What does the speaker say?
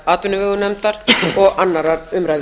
atvinnuveganefndar og annarrar umræðu